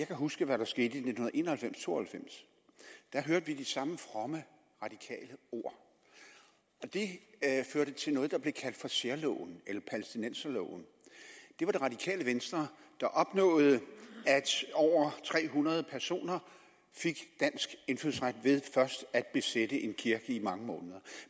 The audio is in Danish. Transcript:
kan huske hvad der skete i nitten en og halvfems til to og halvfems der hørte vi de samme fromme radikale ord og det førte til noget der blev kaldt for særloven eller palæstinenserloven det var det radikale venstre der opnåede at over tre hundrede personer fik dansk indfødsret ved først at besætte en kirke i mange måneder